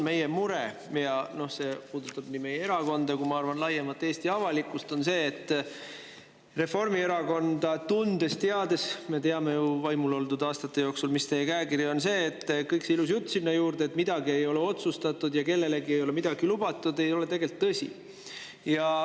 Meie mure, mis puudutab nii meie erakonda kui ka, ma arvan, laiemalt Eesti avalikkust, on see: tundes-teades Reformierakonda ja olles teie võimul oldud aastate jooksu teada saanud, mis teie käekiri on, kõik see ilus jutt, et midagi ei ole otsustatud ja kellelegi ei ole midagi lubatud, ei ole tegelikult tõsi.